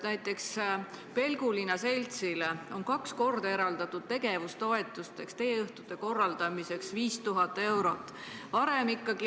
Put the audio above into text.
Näiteks on Pelgulinna Seltsile kaks korda tegevustoetuseks ja teeõhtute korraldamiseks eraldatud 5000 eurot.